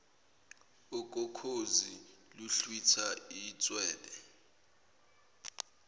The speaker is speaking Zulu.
okokhozi luhlwitha itshwele